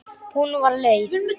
Hún var leið.